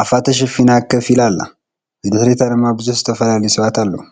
ኣፋ ተሸፊና ከፍ ኢላ ኣላ፡፡ ብድሕሪታ ድማ ብዙሓት ዝተፈላለየ ሰባት ኣለው፡፡